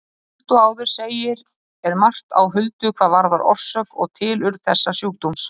Líkt og áður segir er margt á huldu hvað varðar orsök og tilurð þessa sjúkdóms.